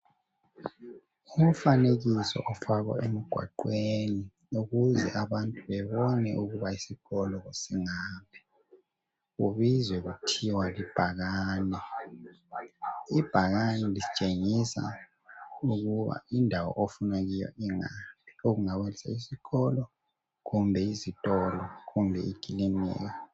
Umfanekiso ofakwe emgwaqweni ukuze abantu bebone ukuba isikolo singaphi kubizwa kuthiwa libhakane, ibhakane litshengisa ukuba indawo ofuna ukuya kiyo inga okungabe sesikolo kumbe izitolo kumbe ikilinika.